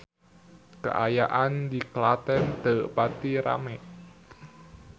Kaayaan di Klaten teu pati rame